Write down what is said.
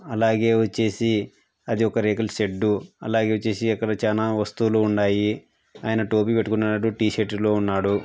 అలాగే వచ్చేసి అదొక రేకుల షెడ్డు . అలాగే వచ్చేసి అక్కడ చాలా వస్తువులు ఉన్నాయి. అయన టోపీ పెట్టుకున్నాడు. టీ-షర్ట్ లో ఉన్నాడు.